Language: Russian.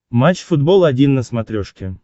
матч футбол один на смотрешке